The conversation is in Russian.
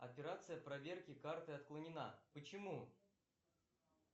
операция проверки карты отклонена почему